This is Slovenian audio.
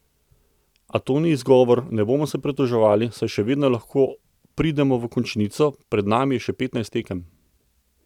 A to ni izgovor, ne bomo se pritoževali, saj še vedno lahko pridemo v končnico, pred nami je še petnajst tekem.